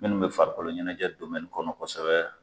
Minnu bɛ farikolo ɲɛnajɛ kɔnɔ kosɛbɛ